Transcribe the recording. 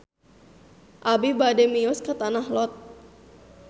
Abi bade mios ka Tanah Lot